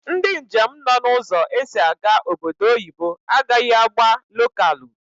Ndi njem nọ na ụzọ esi aga obodo oyibo agaghi agba lokalu